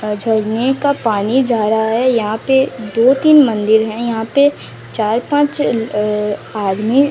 अ झरने का पानी जा रहा है यहां पे दो तीन मंदिर हैं यहां पे चार पांच अ आदमी--